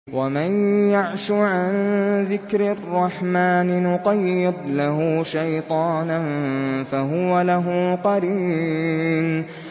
وَمَن يَعْشُ عَن ذِكْرِ الرَّحْمَٰنِ نُقَيِّضْ لَهُ شَيْطَانًا فَهُوَ لَهُ قَرِينٌ